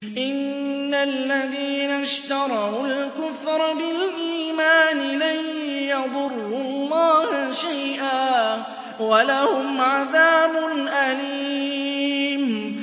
إِنَّ الَّذِينَ اشْتَرَوُا الْكُفْرَ بِالْإِيمَانِ لَن يَضُرُّوا اللَّهَ شَيْئًا وَلَهُمْ عَذَابٌ أَلِيمٌ